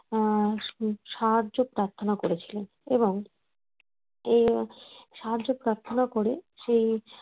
আহ সাহায্য প্রার্থনা করেছিলেন এবং ও সাহায্য প্রার্থনা করে সে